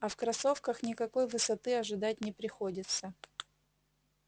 а в кроссовках никакой высоты ожидать не приходится